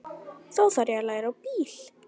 Þá þarf ég að fara að læra á bíl.